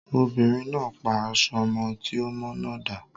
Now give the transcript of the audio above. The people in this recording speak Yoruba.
Obìnrin náà pa aṣọ ọmọ tí ò mọ́ náà dà.